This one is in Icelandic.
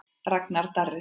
Ragnar Darri.